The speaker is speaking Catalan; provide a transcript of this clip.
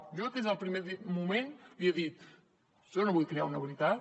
jo des del primer moment l’hi he dit jo no vull crear una veritat